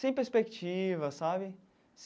Sem perspectiva, sabe?